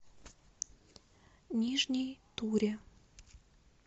нижней туре